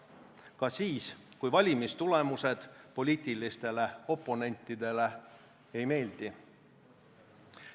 Ka siis, kui valimistulemused poliitilistele oponentidele ei meeldi.